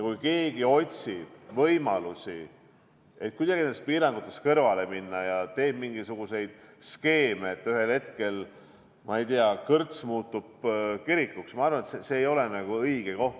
Kui keegi otsib võimalusi, kuidas nendest piirangutest kõrvale minna, ja teeb mingisuguseid skeeme, nii et ühel hetkel, ma ei tea, näiteks kõrts muutub kirikuks, siis ma arvan, et see ei ole õige koht.